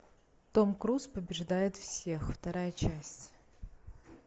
том круз побеждает всех вторая часть